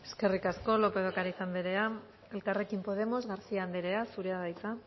eskerrik asko lópez de ocariz anderea elkarrekin podemos garcía anderea zurea da hitza